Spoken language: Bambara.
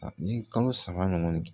Ni kalo saba ɲɔgɔn